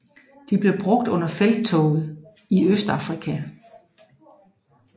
De blev brugt under Felttoget i Østafrika